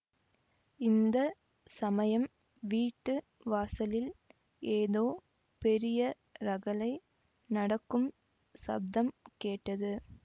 இந்த சமயம் வீட்டு வாசலில் ஏதோ பெரிய ரகளை நடக்கும் சப்தம் கேட்டது